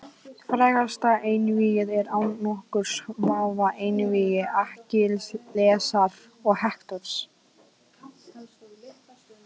Frægasta einvígið er án nokkurs vafa einvígi Akkillesar og Hektors.